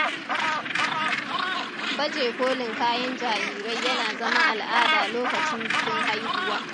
Baje kolin kayan jarirai yana zama al'ada lokacin bikin haihuwa.